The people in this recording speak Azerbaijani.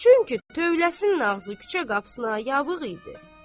Çünki tövləsinin ağzı küçə qapısına yavıq idi.